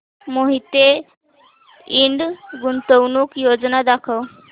मोहिते इंड गुंतवणूक योजना दाखव